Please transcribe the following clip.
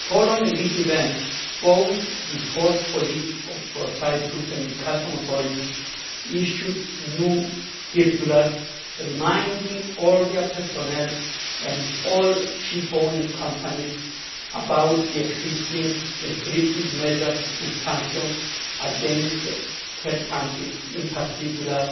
Following this event both the port police of Cyprus and the customs authorities issued new circulars reminding all their personnel and all ship owning companies of the existing restrictive measures and sanctions against third countries, in particular,